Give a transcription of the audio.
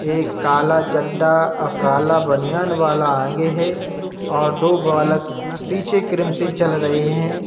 एक काला चड्ढा अ काला बनियान वाला आगे है और दो बालक पीछे क्रम से चल रहे हैं।